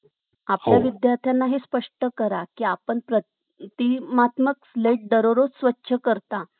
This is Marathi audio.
आपल्या विद्यार्थ्यांना हे स्पष्ट करा कि, आपण प्रतिकारात्मक प्लेट दररोज स्वच्छ करता